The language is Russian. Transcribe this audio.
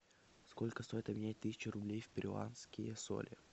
сколько стоит обменять тысячу рублей в перуанские соли